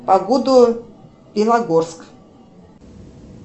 погоду белогорск